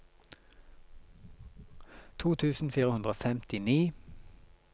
to tusen fire hundre og femtini